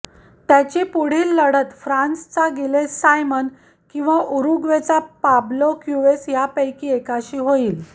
त्याची पुढील लढत फ्रान्सचा गिलेस सायमन किंवा उरुग्वेचा पाब्लो क्युवेस यापैकी एकाशी होईल